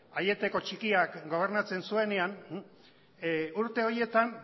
aieteko txikiak gobernatzen zuenean urte horietan